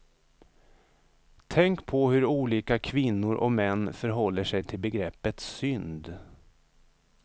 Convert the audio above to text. Tänk på hur olika kvinnor och män förhåller sig till begreppet synd.